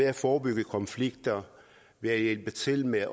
at forebygge konflikter og hjælpe til med